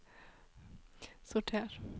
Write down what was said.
sorter